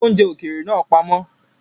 Ko oúnjẹ ókéré naa pamọ́!